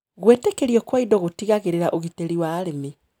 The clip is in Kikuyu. Gwĩtĩkĩrio kwa indo gũtigagirĩra ũgitĩri wa arĩmi.